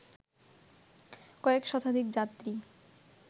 কয়েক শতাধিক যাত্রী